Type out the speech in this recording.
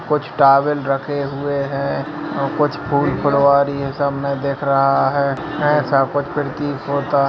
कुछ टावेल रखे हुए हैं और कुछ फूल-फुलवारी है सब मे देख रहा है ऐसा कुछ प्रतीत होता --